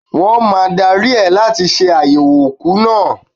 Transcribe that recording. Wọ́n máa dári ẹ láti ṣe àyẹ̀wò òkú náà.